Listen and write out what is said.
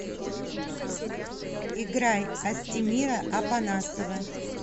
играй астемира апанасова